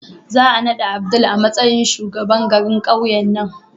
Za a naɗa Abdul a matsayin shugaban garin ƙauyen nan.